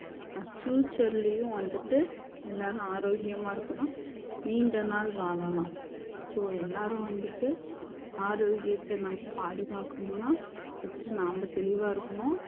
future லையும் வந்துட்டு எல்லாரும் ஆரோக்கியமா இருக்கலாம் நீண்ட நாள் வாழலாம் so எல்லாரும் வந்துட்டு ஆரோக்கியத்தை நம்ம பாதுகாக்கணும்னா first நாம தெளிவா இருக்கணும்